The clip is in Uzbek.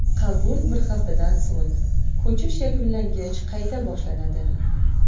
Qabul bir haftadan so‘ng, ko‘chish yakunlangach, qayta boshlanadi.